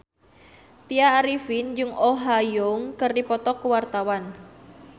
Tya Arifin jeung Oh Ha Young keur dipoto ku wartawan